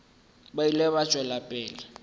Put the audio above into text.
ba ile ba tšwela pele